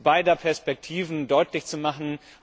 beider Perspektiven deutlich zu machen.